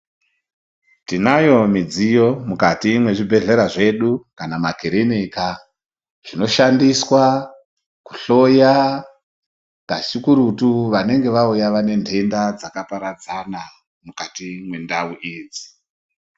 Tinayo midziyo mukati mwezvibhedhlera zvedu kana makirinika zvinoshandiswa kuhloya kazikurutu vanenga vauya vane ntenda dzakaparadzana mukati mwendau idzi.